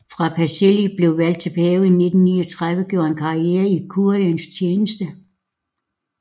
Før Pacelli blev valgt til pave i 1939 gjorde han karriere i kuriens tjeneste